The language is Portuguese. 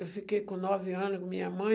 Eu fiquei com nove anos minha mãe.